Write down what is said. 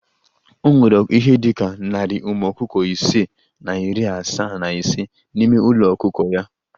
O nwere ihe dị ka narị ụmụ ọkụkọ ise na iri asaa na ise n'ime ulo ọkụkọ ya